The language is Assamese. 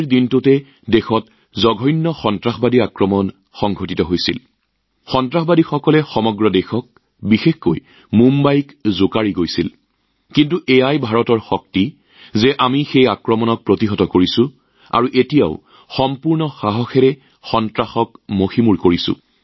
কিন্তু ভাৰতৰ দৃঢ়তাই আমাক এই কষ্ট অতিক্ৰম কৰাত সহায় কৰিলে এতিয়া আমি সম্পূৰ্ণ উৎসাহেৰে সন্ত্ৰাসবাদৰ অন্ত পেলাইছো